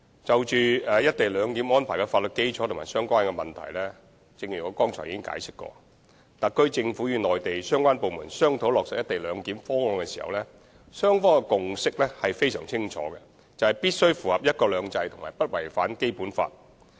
關於"一地兩檢"安排的法律基礎和相關問題，正如我剛才所作解釋，特區政府與內地相關部門商討落實"一地兩檢"的方案時，雙方的共識非常清楚，就是必須符合"一國兩制"及不違反《基本法》。